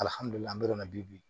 Alihamudulila alihamidulilayi bi